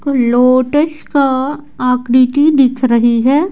Lotus का आकृति दिख रही है।